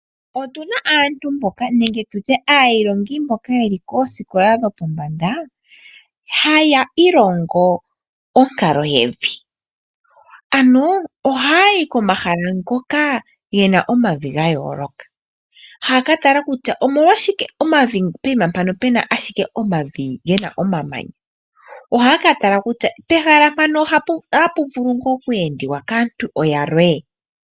Otu na aantu mboka nenge tutye aayilongi mboka yeli koosikola dho pombanda, haya ilongo onkalo yevi. Ano ohaya yi komahala ngoka ye na omavi ga yooloka. Haya ka tala kutya omolwashike poima mpano pena ashike omavi gena omamanya. Ohaya ka tala kutya pehala mpaka ohapu vulu tuu oku endwa kaantu yalwe?